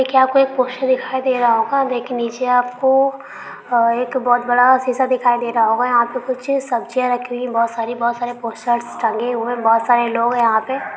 एकी आपको एक पोस्ट दिखाई दे राहा होगा नीचे आपको आ एक बहुत बड़ा शीशा दिखाई दे रहा होगा यहां पे कुछ सबजिया रखी हुई बहुत सारी बहुत सारे पोस्टर्स टंगे हुए बहुत सारे लोग हे यहां पे।